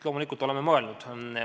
Loomulikult oleme mõelnud.